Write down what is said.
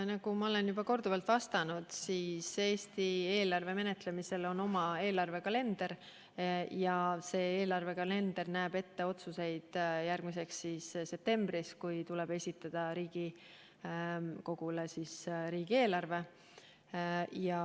Nagu ma olen juba korduvalt öelnud, Eesti eelarve menetlemisel on oma kalender ja see näeb ette otsused järgmiseks septembriks, kui tuleb esitada Riigikogule riigieelarve.